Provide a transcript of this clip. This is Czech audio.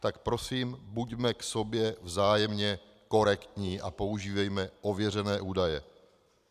Tak prosím buďme k sobě vzájemně korektní a používejme ověřené údaje.